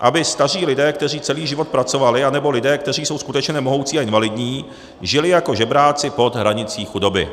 aby staří lidé, kteří celý život pracovali, nebo lidé, kteří jsou skutečně nemohoucí a invalidní, žili jako žebráci pod hranicí chudoby.